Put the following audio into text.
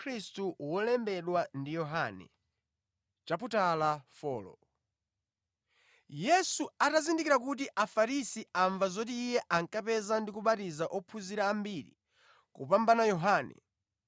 Yesu atazindikira kuti Afarisi amva zoti Iye ankapeza ndi kubatiza ophunzira ambiri kupambana Yohane,